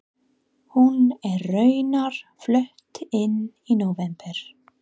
Hún er raunar flutt inn í nóvember.